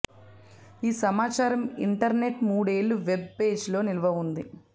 ఈ సమాచారం ఇంటర్నెట్ మూడేళ్లు వెబ్ పేజీలో నిల్వ ఉంది